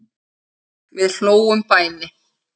Við hlógum bæði.